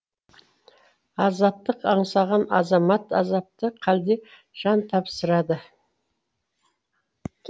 азаттық аңсаған азамат азапты хәлде жан тапсырады